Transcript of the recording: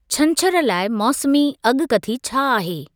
छंछरु लाइ मौसमी अॻकथी छा आहे?